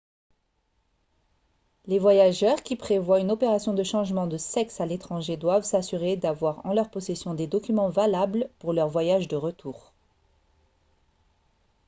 les voyageurs qui prévoient une opération de changement de sexe à l'étranger doivent s'assurer d'avoir en leur possession des documents valables pour leur voyage de retour